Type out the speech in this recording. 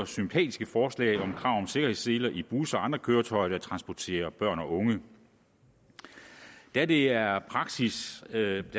sympatiske forslag om krav om sikkerhedsseler i busser og andre køretøjer der transporterer børn og unge da det er praksis at